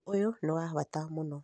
ũndũ ũyũ nĩ wa bata mũno